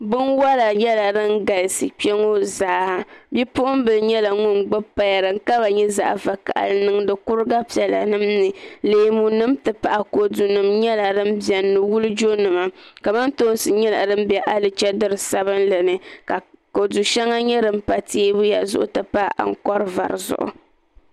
binwala nyɛla din galisi kpe ŋɔ zaa bipuɣmbila nyɛla ŋun gbibi paya din kama nyɛ zaɣ' vakahili n niŋdi kuriga piɛlanima ni leemunima nti pahi kodunima nyɛla din beni ni wulijonima kamantoosi nyɛla din be alichidiri sabinli ni ka kodu shɛŋa nyɛ din pa teebuya zuɣu nti pahi ankɔr' vɔri zuɣu